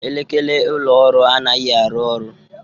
Elekere ụlọ ọrụ anaghị arụ ọrụ